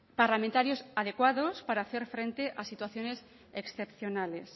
parlamentarios adecuados para hacer frente a situaciones excepcionales